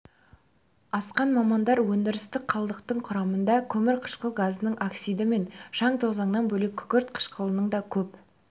асқан мамандар өндірістік қалдықтардың құрамында көмірқышқыл газының оксиді мен шаң-тозаңнан бөлек күкірт қышқылының да көп